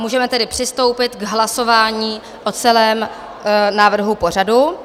Můžeme tedy přistoupit k hlasování o celém návrhu pořadu.